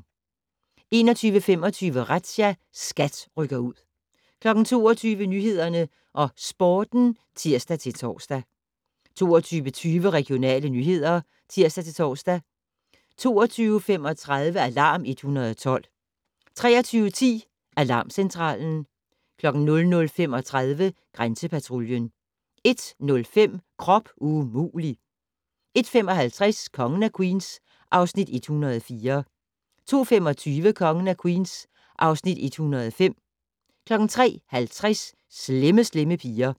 21:25: Razzia - SKAT rykker ud 22:00: Nyhederne og Sporten (tir-tor) 22:20: Regionale nyheder (tir-tor) 22:35: Alarm 112 23:10: Alarmcentralen 00:35: Grænsepatruljen 01:05: Krop umulig! 01:55: Kongen af Queens (Afs. 104) 02:25: Kongen af Queens (Afs. 105) 03:50: Slemme Slemme Piger